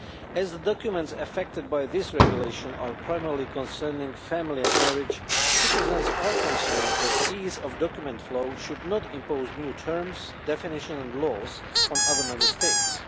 As the documents affected by this regulation primarily concern family and marriage, citizens are concerned that ease of document flow should not impose new terms, definitions and laws on other Member States.